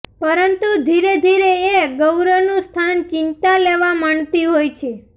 પરંતુ ધીરેધીરે એ ગૌરવનું સ્થાન ચિંતા લેવા માંડતી હોય છે